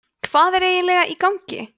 hvað er eiginlega í gangi